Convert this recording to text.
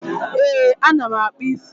Ee, ana m akpụ isi